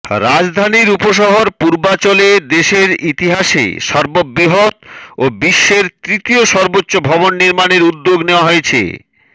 রাজধানীর উপশহর পূর্বাচলে দেশের ইতিহাসে সর্ববৃহৎ ও বিশ্বের তৃতীয় সর্বোচ্চ ভবন নির্মাণের উদ্যোগ নেওয়া হয়েছে